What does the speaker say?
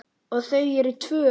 Og þau eru tvö.